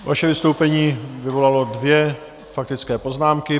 Vaše vystoupení vyvolalo dvě faktické poznámky.